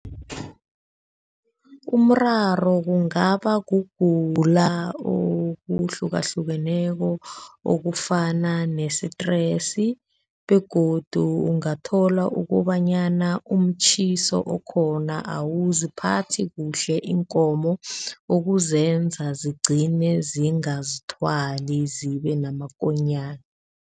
Umraro kungaba kugula okuhlukahlukeneko okufana ne-stress begodu ungathola ukobanyana umtjhiso okhona awuziphathi kuhle iinkomo, okuzenza zigcine zingazithwali zibe namakonyana.